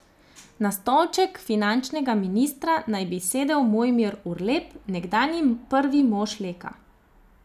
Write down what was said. Na stolček finančnega ministra naj bi sedel Mojmir Urlep, nekdanji prvi mož Leka.